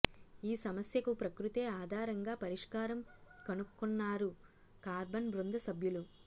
ఈ సమస్యకు ప్రకృతే ఆధారంగా పరిష్కారం కనుక్కొన్నారు కార్బన్ బృంద సభ్యులు